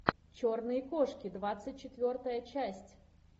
черные кошки двадцать четвертая часть